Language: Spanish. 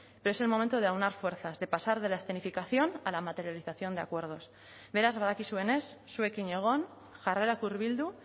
pero es el momento de aunar fuerzas de pasar de la escenificación a la materialización de acuerdos beraz badakizuenez zuekin egon jarrerak hurbildu